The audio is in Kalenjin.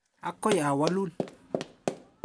Akoi awalun.